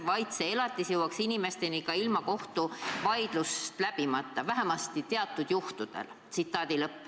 Elatisabi peaks jõudma inimesteni ka ilma kohtuvaidlust läbimata, vähemasti teatud juhtudel.